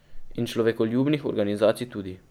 In človekoljubnih organizacij tudi.